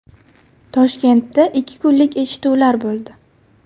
Toshkentda ikki kunlik eshituvlar bo‘ldi.